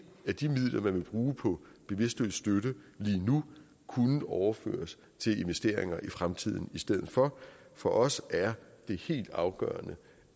af de midler man vil bruge på bevidstløs støtte lige nu kunne overføres til investeringer i fremtiden i stedet for for os er det helt afgørende